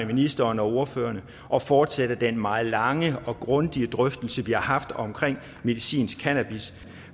ministeren og ordførerne at fortsætte den meget lange og grundige drøftelse vi har haft omkring medicinsk cannabis